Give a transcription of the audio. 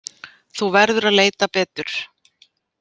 Þú verður að leita betur.